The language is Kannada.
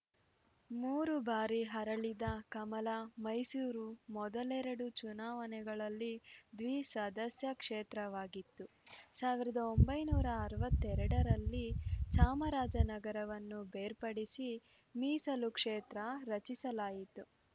ಮೂರು ಬಾರಿ ಅರಳಿದ ಕಮಲ ಮೈಸೂರು ಮೊದಲೆರಡು ಚುನಾವಣೆಗಳಲ್ಲಿ ದ್ವಿಸದಸ್ಯ ಕ್ಷೇತ್ರವಾಗಿತ್ತು ಸಾವಿರದ ಒಂಬೈನೂರ ಅರವತ್ತೆರಡರಲ್ಲಿ ಚಾಮರಾಜನಗರವನ್ನು ಬೇರ್ಪಡಿಸಿ ಮೀಸಲು ಕ್ಷೇತ್ರ ರಚಿಸಲಾಯಿತು